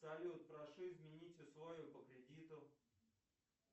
салют прошу изменить условия по кредиту